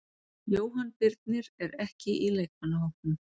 Jóhann Birnir er ekki í leikmannahópnum.